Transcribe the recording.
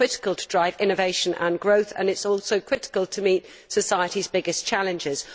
It is critical to drive innovation and growth, and it is also critical to meet society's biggest challenges.